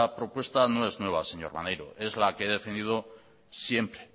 propuesta no es nueva señor maneiro es la que he defendido siempre